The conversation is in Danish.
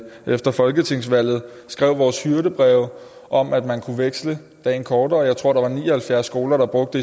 efter folketingsvalget skrev vores hyrdebreve om at man kunne veksle dagen kortere jeg tror der var ni og halvfjerds skoler der brugte